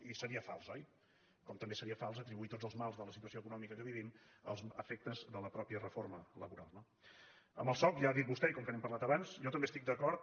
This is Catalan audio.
i seria fals oi com també seria fals atribuir tots els mals de la situació econòmica que vivim als efectes de la mateixa reforma laboral no amb el soc ja ho ha dit vostè i com que n’hem parlat abans jo també hi estic d’acord